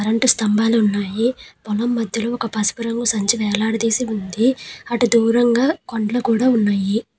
Current స్తంభాలు ఉన్నాయి. పొలం మధ్యలో ఒక పసుపు రంగు సంచి వేలాడదీసి ఉంది. అటు దూరంగా కొండలు కుడా ఉన్నాయి.